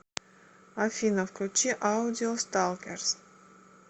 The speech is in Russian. афина включи аудиосталкерс